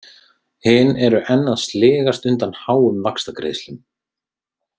Hin eru enn að sligast undan háum vaxtagreiðslum.